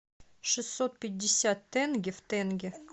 шестьсот пятьдесят тенге в тенге